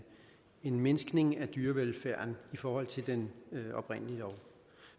en mindskning af dyrevelfærden i forhold til den oprindelige lov